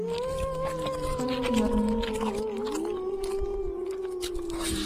хроники нарнии